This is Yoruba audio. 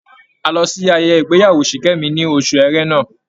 A lọ sí ayẹyẹ ìgbéyawó Ṣìkẹ́mi ní oṣù Ẹ̀rẹnà.